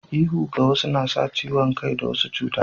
Ihu ga wasu na sa ciwon kai da wasu cuta